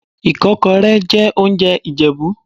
Ìkọ́kọrẹ́ jẹ́ oúnjẹ Ìjẹ̀bú.